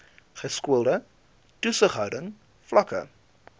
geskoolde toesighouding vlakke